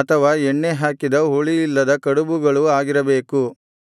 ಅಥವಾ ಎಣ್ಣೆ ಹಾಕಿದ ಹುಳಿಯಿಲ್ಲದ ಕಡುಬುಗಳು ಆಗಿರಬೇಕು